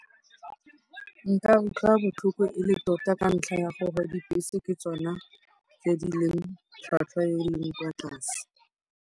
Nka utlwa botlhoko e le tota ka ntlha ya gore dibese ke tsona tse di leng tlhwatlhwa ye e leng kwa tlase.